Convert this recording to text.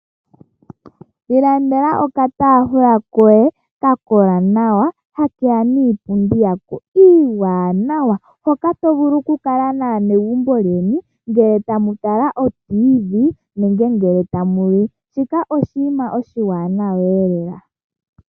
Ilandela okataafula koye ka kola nawa ha keya niipundi yako iiwaanawa hoka ato vulu okukala naanegumbo lyeni ngele tamu tala o radio yomuzizimbe nenge ngele tamu li. Shoka oshinima oshiwanawa lela.